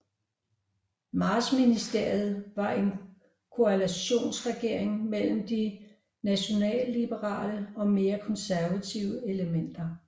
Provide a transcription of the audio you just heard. Martsministeriet var en koalitionsregering mellem de nationalliberale og mere konservative elementer